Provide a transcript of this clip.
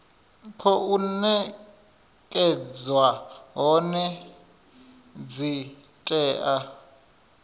khou nekedzwa hone dzi tea